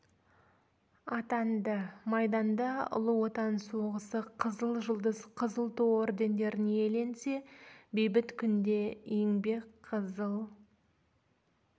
атанды майданда ұлы отан соғысы қызыл жұлдыз қызыл ту ордендерін иеленсе бейбіт күнде еңбек қызыл